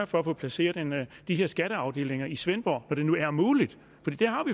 for at få placeret de her skatteafdelinger i svendborg når det nu er muligt